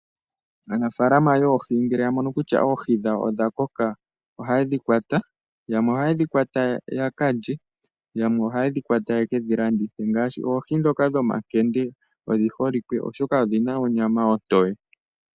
Aanafalama yoohi ngele ya mono kutya oohi dhawo odha koka ohaye dhi kwata. Yamwe ohaye dhi kwata yaka lye, yamwe ohaye dhi kwata yeke dhi landithe ngaashi oohi ndhoka dhomankende odhi holike oshoka odhi na onyama otoye.